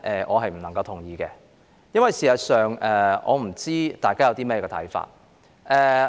我不同意這項議案。事實上，我不知道大家有何看法。